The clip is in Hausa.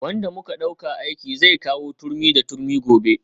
Wanda muka dauka aiki zai kawo turmi da turmi gobe